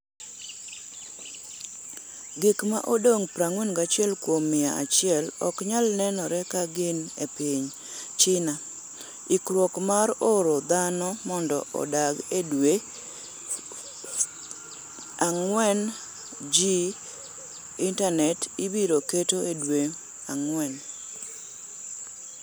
Gik ma odong’ 41 kuom mia achiel ok nyal nenore ka gin e piny. China ikruok mar oro dhano mondo odak e dwe 4G Intanet ibiro keto e dwe 4.